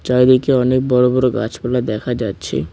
চারিদিকে অনেক বড় বড় গাছপালা দেখা যাচ্ছে।